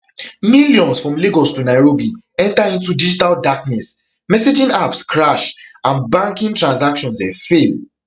millions from lagos to nairobi enta into digital darkness messaging apps crash and banking transactions um fail